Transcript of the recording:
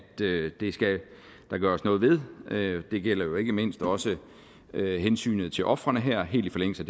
det skal der gøres noget ved det gælder jo ikke mindst også hensynet til ofrene her helt i forlængelse